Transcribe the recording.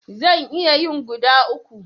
Zan iya yin guda uku.